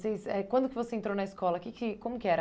eh quando que você entrou na escola, que que como que era?